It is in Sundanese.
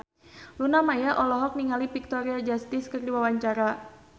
Luna Maya olohok ningali Victoria Justice keur diwawancara